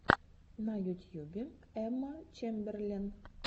на ютьюбе эмма чемберлен